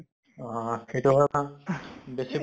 অহ সেইটো হয় কাৰণ বেছি